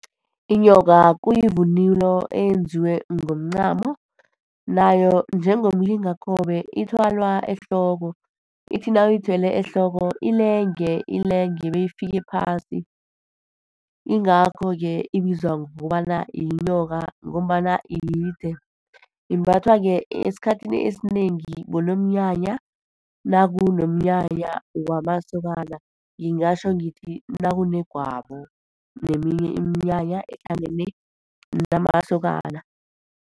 Inyoka kuyivunulo eyenziwe ngomncamo, nayo njengomilingakobe ithwalwa ehloko. Ithi nawuyithwele ehloko ilenge ilenge beyifike phasi. Yingakho-ke ibizwa ngokobana yinyoka, ngombana yide. Imbathwa-ke esikhathini esinengi bonomnyanya, nakunomnyanya wamasokana. Ngingatjho ngithi nakunegwabo, neminye iminyanya ehlangene namasokana.